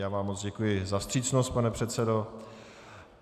Já vám moc děkuji za vstřícnost, pane předsedo.